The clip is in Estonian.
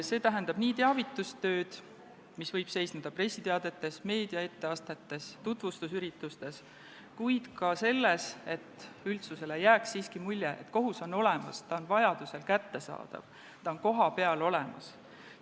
See tähendab nii teavitustööd, mis võib seisneda pressiteadetes, etteastetes meedias, tutvustusüritustes, kuid ka selles, et üldsus saaks aru, et kohus on olemas, ta on vajaduse korral kättesaadav, ta on kohapeal olemas.